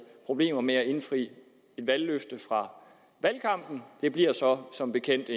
problemer med at indfri et valgløfte fra valgkampen det bliver så som bekendt